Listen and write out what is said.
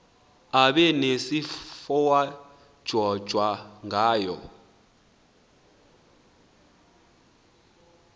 abe nesifowadyojwa ngayo